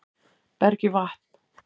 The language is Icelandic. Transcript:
Berg í vatn